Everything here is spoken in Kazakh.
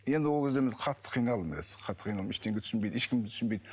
енді ол кезде мен қатты қиналдым қатты қиналдым ештеңе түсінбейді ешкім де түсінбейді